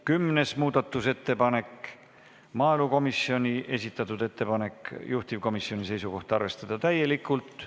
Kümnes muudatusettepanek, maaelukomisjoni esitatud ettepanek, juhtivkomisjoni seisukoht: arvestada täielikult.